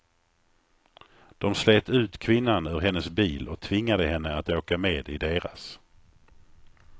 De slet ut kvinnan ur hennes bil och tvingade henne att åka med i deras.